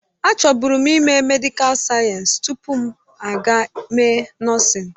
Achọbụrụ m ime medịkal sayensị tupu m aga mee nọọsịn.